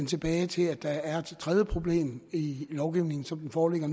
tilbage til at der er et tredje problem i lovgivningen som den foreligger